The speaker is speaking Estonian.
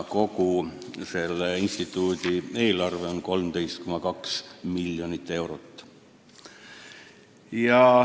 Kogu selle instituudi eelarve on 13,2 miljonit eurot.